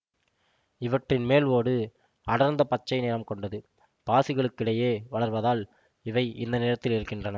இவற்றின் மேல் ஓடு அடர்ந்த பச்சை நிறம் கொண்டது பாசிகளுக்கிடையே வளர்வதால்தான் இவை இந்த நிறத்தில் இருக்கின்றன